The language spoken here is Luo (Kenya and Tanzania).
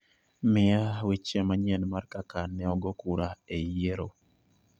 mia weche manyien mar kaka neogo kura e yiero